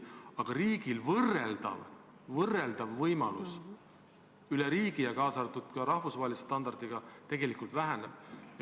Aga riigil võimalus võrrelda üle riigi ja ka rahvusvahelise standardiga tegelikult väheneb.